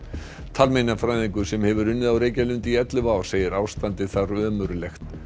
talmeinafræðingur sem hefur unnið á Reykjalundi í ellefu ár segir ástandið þar ömurlegt